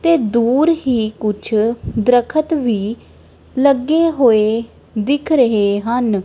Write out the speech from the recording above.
ਤੇ ਦੂਰ ਹੀ ਕੁਝ ਦਰੱਖਤ ਵੀ ਲੱਗੇ ਹੋਏ ਦਿਖ ਰਹੇ ਹਨ।